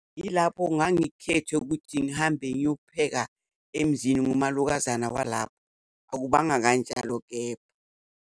Yilapho ngangikhethwe ukuthi ngihambe ngiyopheka emzini, nguwumalokazana walapho. Akubanga kanjalo kepha.